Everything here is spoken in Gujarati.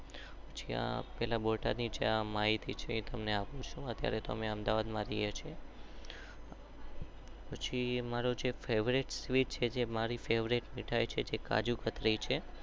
જ્યાં પેલા બોટાદ ની માહિતી તમને અપૂ ચુ.